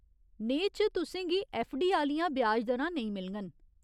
नेहे च तुसें गी ऐफ्फडी आह्‌लियां ब्याज दरां नेईं मिलङन।